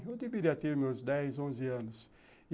Eu deveria ter meus dez, onze anos.